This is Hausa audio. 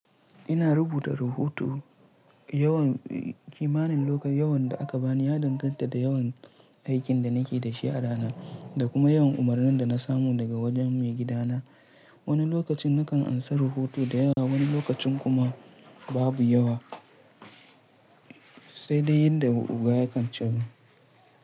Ina rubuta rahoto yawan kimanin lokacin da aka bani, ya danganta da yawan aikin da nake da shi a rana da kuma yawan umarnin da na samu daga wajen mai gida na. Wani lokacin nakan amsa rahoto da yawa, wani lokacin kuma babu yawa, sai dai yadda ubangida ya kan ce min.